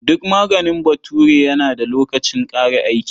Duk maganin Bature yana da lokacin ƙare aiki.